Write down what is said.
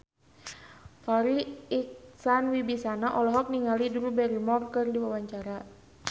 Farri Icksan Wibisana olohok ningali Drew Barrymore keur diwawancara